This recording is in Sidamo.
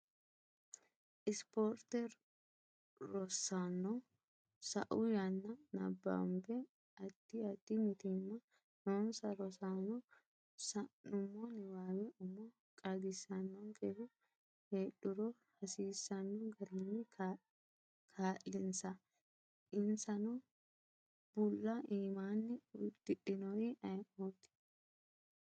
isiporte Rosaano, sa’u yanna nabbambe Addi addi mitiimma noonsa rosaano sa’nummo niwaawe umo qaagisannonkehu heedhuro hasiisanno garinni kaa’linsa insano bulla iimani uddudhinori ayeeoti?